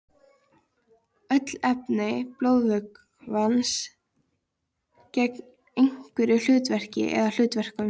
Öll efni blóðvökvans gegna einhverju hlutverki eða hlutverkum.